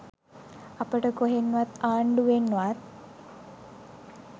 අපට කොහෙන්වත් ආණ්ඩුවෙන්වත්